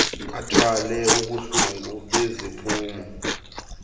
athwale ubuhlungu beziphumo